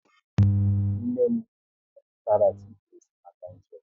Nne m a zụtara tiket maka njem